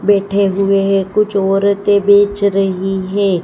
बैठे हुए है कुछ औरते बेच रही है।